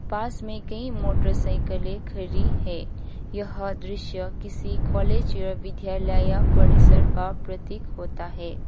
पास में कई मोटरसाइकिले खड़ी है यह दृश्य किसी कॉलेज या विद्यालय परिसर का प्रतीक होता है।